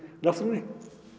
náttúran ég